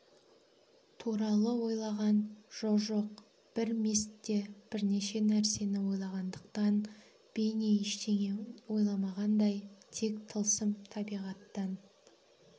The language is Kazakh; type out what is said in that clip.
туралы ойлаған жо-жоқ бір мезтте бірнеше нәрсені ойлағандықтан бейне ештеңе ойламағандай тек тылсым табиғаттан